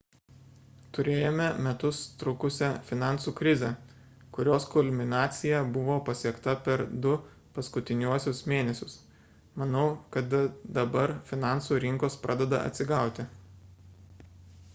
turėjome metus trukusią finansų krizę kurios kulminacija buvo pasiekta per du paskutiniuosius mėnesius manau kad dabar finansų rinkos pradeda atsigauti